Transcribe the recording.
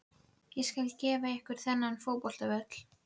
Ég skal gefa ykkur þennan fótboltavöll.